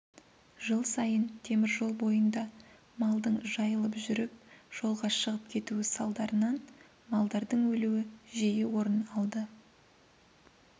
жыл сайын теміржол бойында малдың жайылып жүріп жолға шығып кетуі салдарынан малдардың өлуі жиі орын алды